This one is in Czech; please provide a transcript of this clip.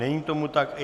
Není tomu tak.